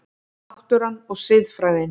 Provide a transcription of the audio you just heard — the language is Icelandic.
Náttúran og siðfræðin